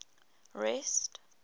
rest